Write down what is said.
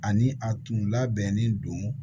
Ani a tun labɛnnen don